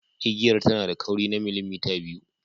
Igiyar tana da kauri na millimita biyu.